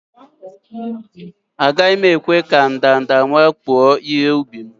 Agaghi m ekwe ka ndanda wakpo ihe-ubi m